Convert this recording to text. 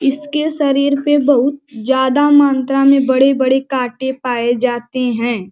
इसके शरीर पे बहुत ज़्यादा मांत्रा में बड़े-बड़े कांटे पाए जाते हैं।